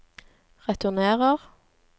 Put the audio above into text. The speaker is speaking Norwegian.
returnerer